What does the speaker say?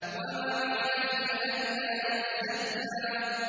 وَمَا عَلَيْكَ أَلَّا يَزَّكَّىٰ